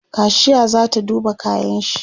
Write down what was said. kashiya zata duba kayanshi